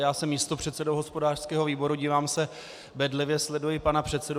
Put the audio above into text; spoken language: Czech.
Já jsem místopředsedou hospodářského výboru, dívám se bedlivě, sleduji pana předsedu.